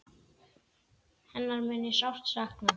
Hennar mun ég sárt sakna.